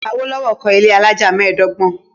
Awolowo kọ́ ilé alájà mẹ́ẹ̀dọ́gbọ̀n.